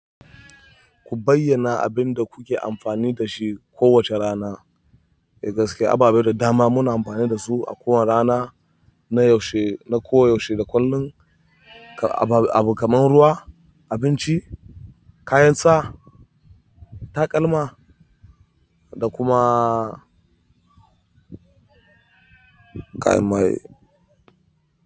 Ku bayyana abin da kuke amfani da shi kowace rana. Eh gaskiya ababe da dama muna amfani da su a kowane rana na yaushe, na koyaushe da kullum abu kamar ruwa, abinci, kayan sa, takalma da kuma kayan mai.